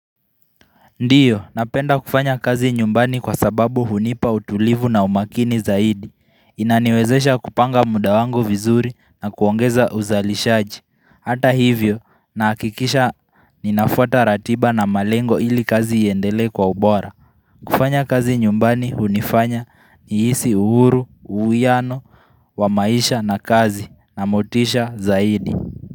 Ndiyo napenda kufanya kazi nyumbani kwa sababu hunipa utulivu na umakini zaidi Inaniwezesha kupanga muda wangu vizuri na kuongeza uzalishaji Hata hivyo na hakikisha ninafuata ratiba na malengo ili kazi iendelee kwa ubora kufanya kazi nyumbani hunifanya ni hisi uhuru, uwiano, wamaisha na kazi na motisha zaidi.